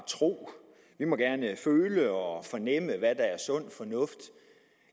tro vi må gerne føle og fornemme hvad der er sund fornuft